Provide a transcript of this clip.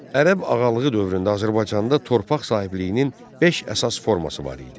Ərəb ağalığı dövründə Azərbaycanda torpaq sahibliyinin beş əsas forması var idi.